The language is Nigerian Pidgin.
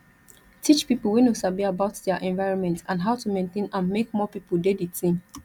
teach pipo wey no sabi about their environment and how to maintain am make more pipo de di team